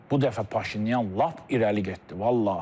Bu dəfə Paşinyan lap irəli getdi, vallahi.